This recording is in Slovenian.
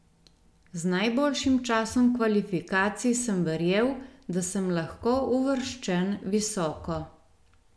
Z najboljšim časom kvalifikacij sem verjel, da sem lahko uvrščen visoko.